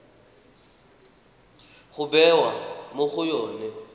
ya bewa mo go yone